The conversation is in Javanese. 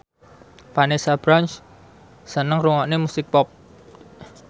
Vanessa Branch seneng ngrungokne musik pop